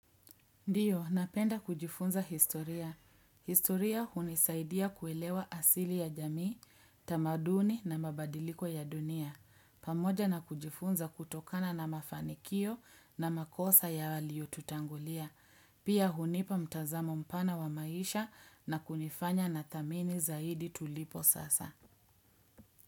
Ndiyo, napenda kujifunza historia. Historia hunisaidia kuelewa asili ya jamii, tamaduni na mabadiliko ya dunia. Pamoja na kujifunza kutokana na mafanikio na makosa ya walio tutangulia. Pia hunipa mtazamo mpana wa maisha na kunifanya na thamini zaidi tulipo sasa.